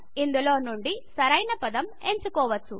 ఇందులో నుండి సరైన పదం ఎంచుకోవచ్చు